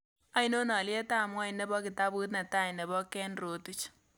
Ainon alyetap ng'wony ne po kitaabut ne tai ne po ken rotich